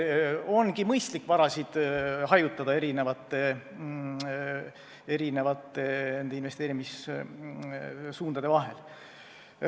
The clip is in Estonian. Ongi mõistlik vara erinevate investeerimissuundade vahel hajutada.